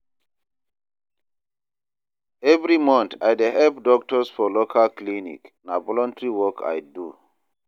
Every month, I dey help doctors for local clinic, na voluntary work I do.